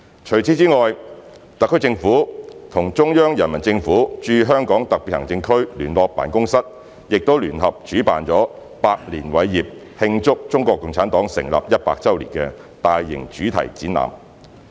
除此之外，特區政府與中央人民政府駐香港特別行政區聯絡辦公室亦聯合主辦了"百年偉業―慶祝中國共產黨成立一百周年"的大型主題展覽。